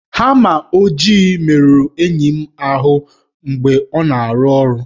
Hama ojii merụrụ enyi m ahụ mgbe ọ na-arụ ọrụ